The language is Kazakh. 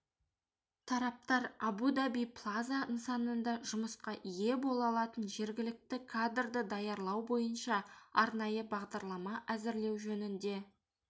тараптар абу-даби плаза нысанында жұмысқа ие бола алатын жергілікті кадрды даярлау бойынша арнайы бағдарлама әзірлеу жөнінде